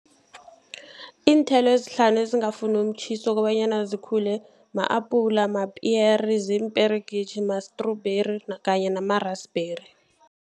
Iinthelo ezihlanu ezingafuni umtjhiso kobanyana zikhule ma-apula, mapiyeri, ziimperegitjhi, ma-strawberry kanye nama-rusberry.